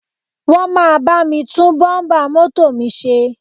Wọ́n máa bá mi tún bọ́ḿbà mọ́tò mi ṣe